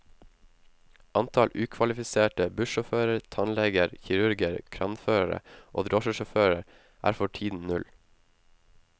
Antall ukvalifiserte bussjåfører, tannleger, kirurger, kranførere og drosjesjåfører er for tiden null.